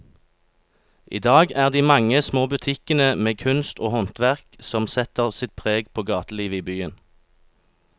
I dag er det de mange små butikkene med kunst og håndverk som setter sitt preg på gatelivet i byen.